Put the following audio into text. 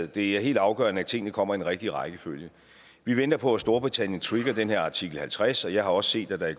det er helt afgørende at tingene kommer i den rigtige rækkefølge vi venter på at storbritannien trigger den her artikel halvtreds jeg har også set at der